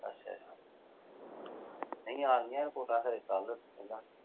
ਅੱਛਾ ਨਹੀਂ ਆ ਰਹੀਆਂ ਰਿਪੋਟਾਂ ਸਵੇਰੇ ਕੱਲ ਕਹਿੰਦਾ